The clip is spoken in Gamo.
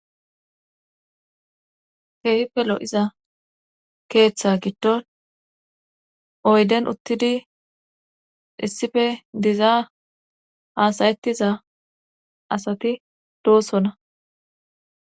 Keehippe lo'iza keeththa giddon oyden uttidi issife dizaa haasayettiza asati doosonna.